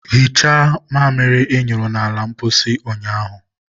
hichaa mamịrị ị nyụrụ n'ala ụlọ mposi ụnyaahụ!